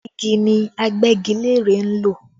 Igi ni Agbẹ́gilére ń lò